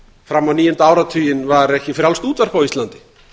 fram á níunda áratuginn var ekki frjálst útvarp á íslandi